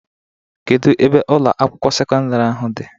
Kedu ebe Ụlọ akwụkwọ sekọndrị ahụ dị?